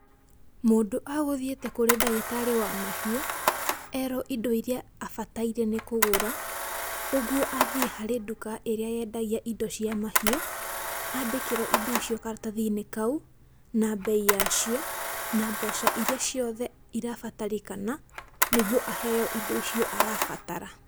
Mũndũ agũthiĩte kũrĩ ndagitarĩ wa mahiũ, erwo indo iria abataire nĩ kũgũra. Ũguo athiĩ harĩ nduka ĩrĩa yendagia indo cia mahiũ, andĩkĩrwo indo icio karatathi-inĩ kau, na mbei yacio na mbeca iria ciothe irabatarĩkana nĩguo aheyo indo icio arabatara.